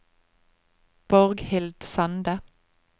Borghild Sande